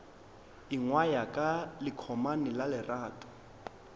ingwaya ka lekomane la lerato